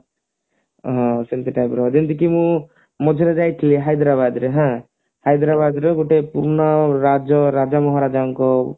ହଁ ସେମତି type ର ଯେମତି ମୁଁ ମଝିରେ ଯାଇଥିଲି ହାଇଦ୍ରାବାଦ ରେ ହଁ ହାଇଦ୍ରାବାଦରେ ଗୋଟେ ରାଜ ରାଜା ମହାରାଜାଙ୍କ